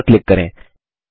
close पर click करें